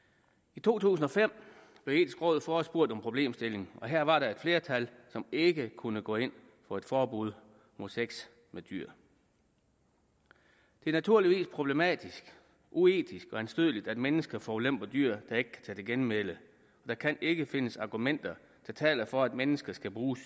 i to tusind og fem blev det etiske råd forespurgt om problemstillingen og her var der et flertal som ikke kunne gå ind for et forbud mod sex med dyr det er naturligvis problematisk uetisk og anstødeligt at mennesker forulemper dyr der ikke kan tage til genmæle og der kan ikke findes argumenter der taler for at mennesker skal bruge